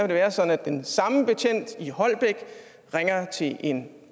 det være sådan at den samme betjent i holbæk ringer til en